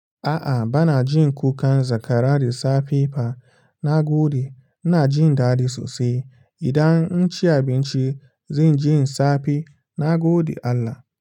A'a bana jin kukan zakara da safe fa, na gode. Ina jin daɗi sosai. Idan naci abinci zan ji safe. Na gode Allah.